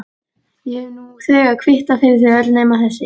Ég hef nú þegar kvittað fyrir þau öll nema þessi.